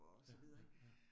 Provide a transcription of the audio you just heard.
Ja ja ja